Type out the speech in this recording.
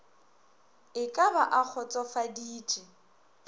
e ka ba a kgotsofaditše